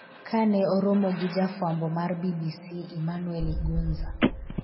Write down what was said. kane oromo gi jafwambo mar BBC Emmanuel Igunza